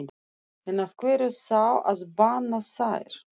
En af hverju þá að banna þær?